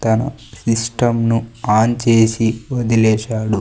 తను సిష్టంను ఆన్ చేసి వదిలేసాడు.